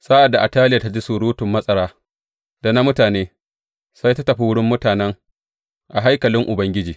Sa’ad da Ataliya ta ji surutun matsara da na mutane, sai ta tafi wurin mutanen a haikalin Ubangiji.